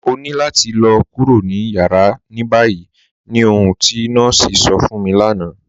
Ọ̀ ní làtì lọ̀ kúrò ní yàrá ní báyì ní ọ̀hun ti nọọ̀sí sọ̀ fún mi lánà.